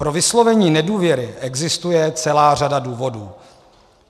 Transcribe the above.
Pro vyslovení nedůvěry existuje celá řada důvodů.